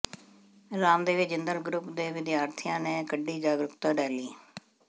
Ramdevi Jindal group ਦੇ ਵਿਦਿਆਰਥੀਆਂ ਨੇ ਕੱਢੀ ਜਾਗਰੂਕਤਾ ਰੈਲੀ